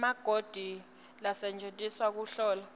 emakhodi lasetjentiselwa kuhlola